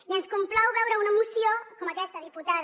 i ens complau veure una moció com aquesta diputada